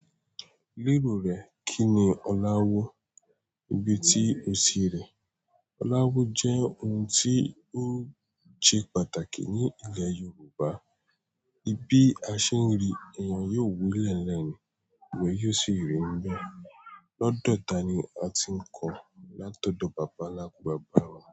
Lérò rẹ kíni Oláwọ́ níbi tí ó sì rẹ̀. Oláwọ́ jẹ́ ohun tí ó ṣe pàtàkì ní ilẹ̀ Yorùbá. Bi a ṣe ń rí, èèyàn yóò wo ilẹ́ẹ̀lẹ́ẹ̀ eeyan yóò sì rí ń bẹ. Lọ́dọ̀ ta ni a ti ń kọ látọ̀dọ̀ bàbá ńlá, bàbá wa.